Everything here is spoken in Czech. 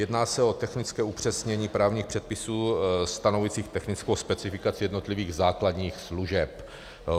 Jedná se o technické upřesnění právních předpisů stanovujících technickou specifikaci jednotlivých základních služeb.